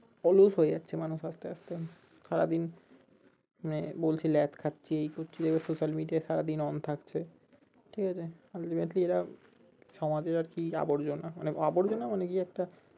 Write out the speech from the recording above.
অলস হয়ে যাচ্ছে মানুষ আস্তে আস্তে সারা দিন মানে বলছে ল্যাদ খাচ্ছি এই করছি, এবার social media সারাদিন on থাকছে ঠিক আছে এরা সমাজের আর কি আবর্জনা, মানে আবর্জনা মানে কি একটা কি বলবো